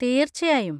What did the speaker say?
തീർച്ചയായും!